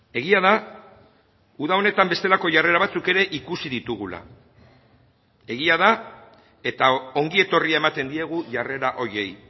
egia da uda honetan bestelako jarrera batzuk ere ikusi ditugula egia da eta ongietorria ematen diegu jarrera horiei